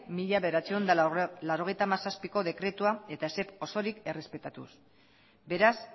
mila bederatziehun eta laurogeita hamazazpiko dekretua osorik errespetatuz beraz